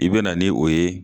I bɛna ni o ye